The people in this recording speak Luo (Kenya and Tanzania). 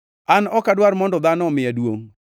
“An ok adwar mondo dhano omiya duongʼ;